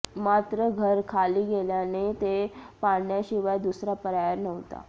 मात्र घर खाली गेल्याने ते पाडण्याशिवाय दुसरा पर्याय नव्हता